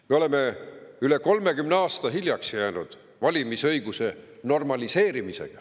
Me oleme valimisõiguse normaliseerimisega üle 30 aasta hiljaks jäänud.